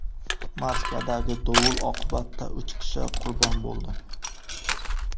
Moskvadagi dovul oqibatida uch kishi qurbon bo‘ldi.